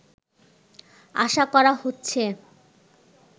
আশা করা হচ্ছে